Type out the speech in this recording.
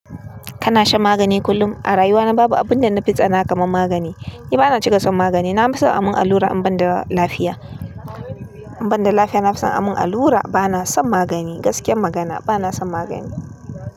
Kana shan magani kullum? A rayuwana babu abun da nafi tsana kaman magani. Ni ba na cika son magani. Nafi son a mun allura in ban da lafiya. In ban da lafiya, nafi son a mun allura. Ba na son magani gaskiyar magana. Ba na son magani.